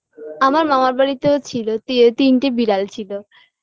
আমার মামার বাড়িতেও ছিল তি তিনটে বিড়াল ছিল